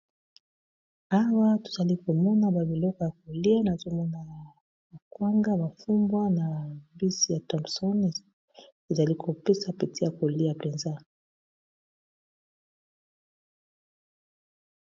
Hawa tuzali komona ba biloko ya kulia na zomo na ba kwanga, mafumbwa, na bisi ya tomson, izalikopisa peti ya kulia mpenza.